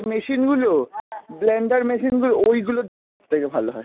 machine গুলো, blander machine গুলো, ওই গুলো দিয়ে সব থেকে ভালো হয়।